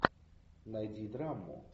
найди драму